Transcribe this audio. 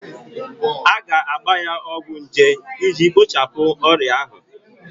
A ga-agba ya ọgwụ nje iji kpochapụ ọrịa ahụ